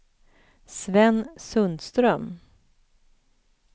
Sven Sundström